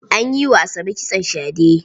An yi wa Asabe kitson shade.